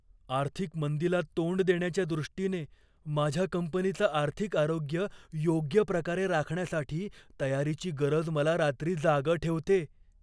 आर्थिक मंदीला तोंड देण्याच्या दृष्टीने माझ्या कंपनीचं आर्थिक आरोग्य योग्य प्रकारे राखण्यासाठी तयारीची गरज मला रात्री जागं ठेवते.